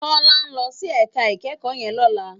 Tola n lòsí èká ikèékò yèn lòlá